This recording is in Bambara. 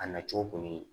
A nacogo kɔni